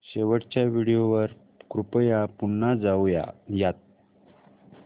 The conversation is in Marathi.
शेवटच्या व्हिडिओ वर कृपया पुन्हा जाऊयात